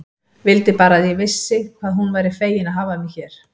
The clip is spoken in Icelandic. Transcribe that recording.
Vildi bara að ég vissi hvað hún væri fegin að hafa mig hér.